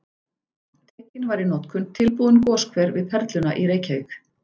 Tekinn var í notkun tilbúinn goshver við Perluna í Reykjavík.